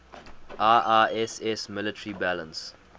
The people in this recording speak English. iiss military balance